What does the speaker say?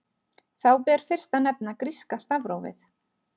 Þá ber fyrst að nefna gríska stafrófið.